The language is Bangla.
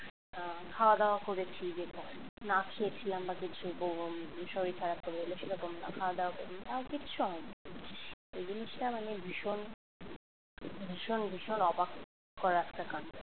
আহ খাওয়া দাওয়া করেছি যে না খেয়ে ছিলাম বা কিছু বমি শরীর খারাপ করে এলো সে রকম না খাওয়া-দাওয়া করিনি আমার কিচ্ছু হয়নি। এই জিনিসটা মানে ভীষণ ভীষণ ভীষণ অবাক করা একটা কান্ড।